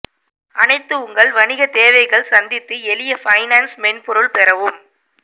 அனைத்து உங்கள் வணிக தேவைகள் சந்தித்து எளிய பைனான்ஸ் மென்பொருள் பெறவும்